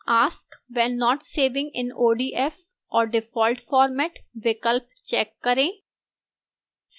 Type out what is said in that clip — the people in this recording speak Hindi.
ask when not saving in odf or default format विकल्प check करें